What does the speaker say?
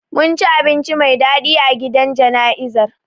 Mun ci abinci mai dadi a gidan jana'izar